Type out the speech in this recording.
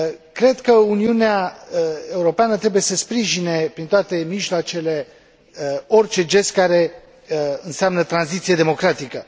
Cred că Uniunea Europeană trebuie să sprijine prin toate mijloacele orice gest care înseamnă tranziție democratică.